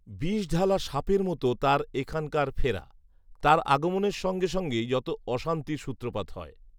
বিষঢালা সাপের মতো তার এখনকার ফেরা। তার আগমনের সঙ্গে সঙ্গেই যত অশান্তির সূত্রপাত হয়।